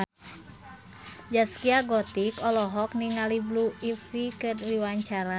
Zaskia Gotik olohok ningali Blue Ivy keur diwawancara